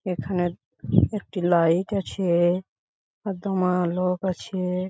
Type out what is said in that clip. এখানে-এ একটি লাইট আছে-এ আর দমা লোক আছে-এ ।